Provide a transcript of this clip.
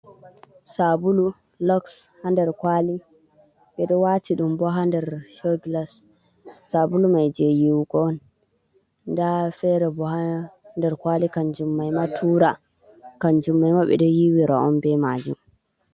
Saabulu Lux haa nder kwali ɓe ɗo waati ɗum boo haa nder cogilas. Saabulu mai jey yiiwugo on nda feere boo haa nder kwali kannjum mai maa Tura, kannjum mai maa ɓe ɗo yiiwira on bee maji